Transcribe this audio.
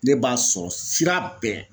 Ne b'a sɔrɔ sira bɛɛ